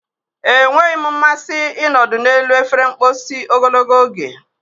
Enweghị m mmasị ịnọdụ n'elu efere mposi ogologo oge.